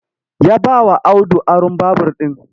Ya bawa Audu aron babur ɗin